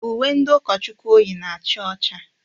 Uwe ndị ụkọchukwu o yi na-acha ọcha.